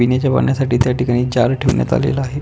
पिण्याच्या पाण्यासाठी त्याठिकाणी जार ठेवण्यात आलेला आहे.